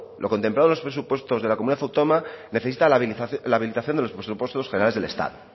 lo contemplado en los presupuestos de la comunidad autónoma necesita la habilitación de los presupuestos generales del estado